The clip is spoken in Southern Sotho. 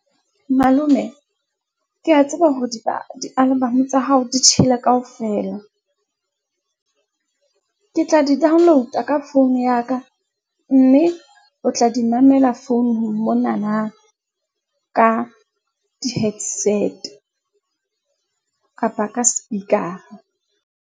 Malome, ke ya tseba hore di , di-album tsa hao di tjhele kaofela. Ke tla di download-a ka phone ya ka, mme o tla di mamela founung monana. Ka di-headset-e kapa ka speaker-a.